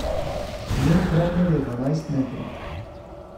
Njen premer je dvanajst metrov.